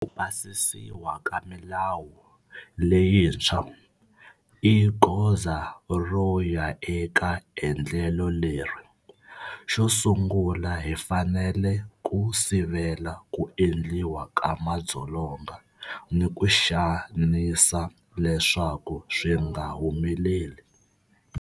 Ku pasisiwa ka milawu leyintshwa i goza ro ya eka endlelo leri. Xosungula hi fanele ku sivela ku endliwa ka madzolonga ni ku xanisa leswaku swi nga humeleli.